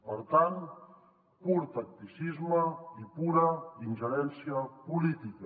per tant pur tacticisme i pura ingerència política